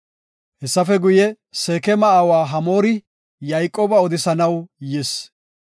Hessafe guye, Seekema aawa Hamoori Yayqooba odisanaw yis.